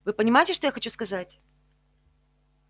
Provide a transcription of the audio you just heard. вы понимаете что я хочу сказать